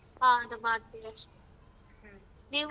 ಹಾ ಅದು ಮಾಡ್ತೀವಿ ಅಷ್ಟೇ ನೀವು?